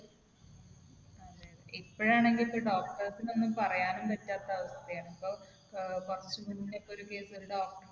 ഇപ്പോഴാണെങ്കിൽ ഇപ്പൊ doctors ന് ഒന്നും പറയാനും പറ്റാത്ത അവസ്ഥയാണ്. ഇപ്പൊ ഏർ കുറച്ച് മുന്നേ ഇപ്പൊ ഒരു case ഒരു doctor നെ